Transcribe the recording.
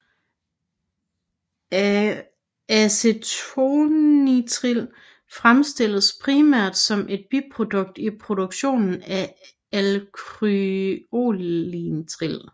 Acetonitril fremstilles primært som et biprodukt i produktionen af akrylonitril